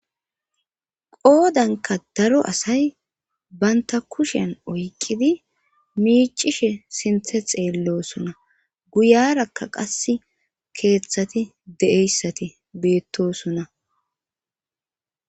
Qoodanka daro asay banta kushen oykqidi miicishe sinthe xeellosona guyarakka qas keeththati de7eyssati beettosuna.